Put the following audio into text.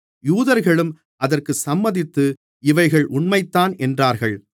யூதர்களும் அதற்கு சம்மதித்து இவைகள் உண்மைதான் என்றார்கள்